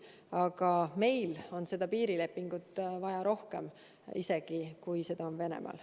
Aga jah, meil on seda piirilepingut vaja rohkem, kui seda on vaja Venemaal.